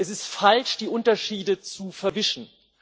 Es ist falsch, die Unterschiede zu verwischen.